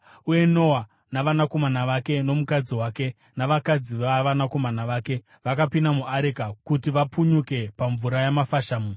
Uye Noa navanakomana vake nomukadzi wake navakadzi vavanakomana vake vakapinda muareka kuti vapunyuke pamvura yamafashamu.